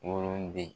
Woloden